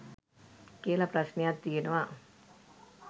කියල ප්‍රශ්නයක් තියෙනවා.